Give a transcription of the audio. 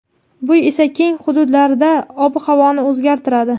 bu esa keng hududlarda ob-havoni o‘zgartiradi.